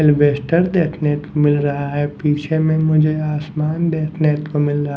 एल्वेस्टर देखने मिल रहा है पीछे में मुझे आसमान देखने को मिला रहा--